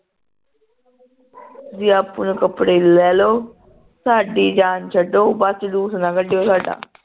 ਆਪਣੇ ਕੱਪੜੇ ਲੈ ਲੋ ਸਾਡੀ ਜਾਣ ਛੱਡੋ ਬਸ ਜਲੂਸ ਨਾ ਕੱਢਿਓ ਸਾਡਾ